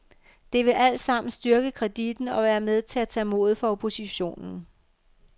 Det vil altsammen styrke kreditten og være med til at tage modet fra oppositionen.